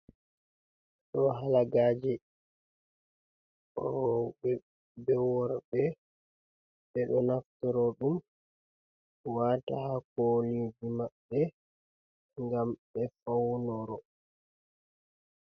Ɗo halagaje roɓe be worɓe, ɓeɗo naftoro ɗum wata hakoliji maɓɓe, ngam ɓe faunoro.